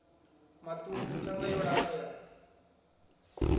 maṱuku thanda yo lapfa ya